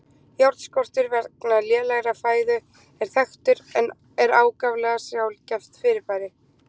Járnskortur vegna lélegrar fæðu er þekktur en er ákaflega sjaldgæft fyrirbæri.